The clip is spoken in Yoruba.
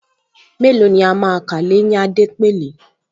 Mélòó ni a máa kà l’éyín Adépèlé